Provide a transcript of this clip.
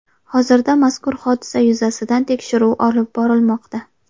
Hozirda mazkur hodisa yuzasidan tekshiruv olib borilmoqda.